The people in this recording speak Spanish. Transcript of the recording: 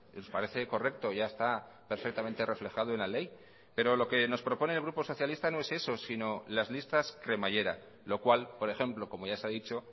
nos parece correcto ya está perfectamente reflejado en la ley pero lo que nos propone el grupo socialista no es eso sino las listas cremallera lo cual por ejemplo como ya se ha dicho